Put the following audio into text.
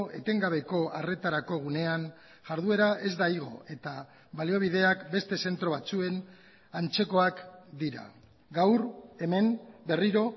etengabeko arretarako gunean jarduera ez da igo eta baliabideak beste zentro batzuen antzekoak dira gaur hemen berriro